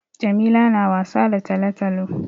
Jamila na wasa da talo-talo.